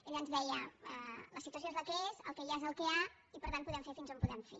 ell ens deia la situació és la que és el que hi ha és el que hi ha i per tant podem fer fins on podem fer